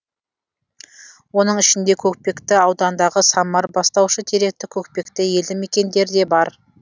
оның ішінде көкпекті ауданындағы самар бастаушы теректі көкпекті елді мекендері де бар